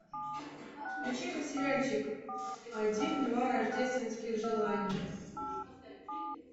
включи ка сериальчик один два рождественских желаний